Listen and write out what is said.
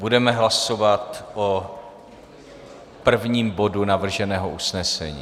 Budeme hlasovat o prvním bodu navrženého usnesení.